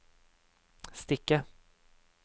strikke